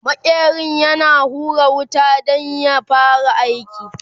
maƙerin yana hura wuta Dan ya fara aiki